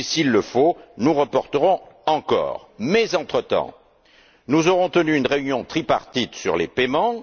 Et, s'il le faut, nous reporterons encore. Entre temps, nous aurons tenu une réunion tripartite sur les paiements.